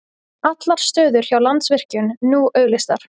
Allar stöður hjá Landsvirkjun nú auglýstar